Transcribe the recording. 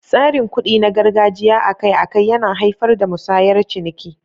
Tsarin kuɗi na gargajiya akai-akai yana haifar da musayar ciniki.